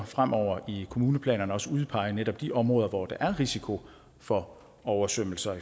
fremover i kommuneplanerne udpege netop de områder hvor der er risiko for oversvømmelser